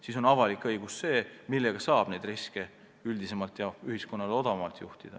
Siis ongi avalik õigus see, mille abil saab neid riske üldisemalt ja ühiskonnale odavamalt juhtida.